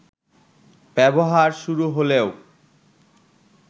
ব্যবহার শুরু হলেও